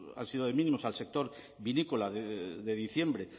han sido de mínimos al sector vinícola de diciembre